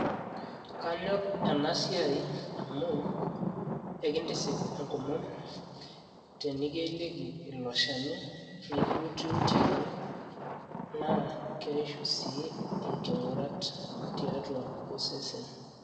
kanyor ena siai amu ekintisip enkomom, tenikieliki, ilo shani nikiututieki naa keishu sii inking'urat tiatua osesen.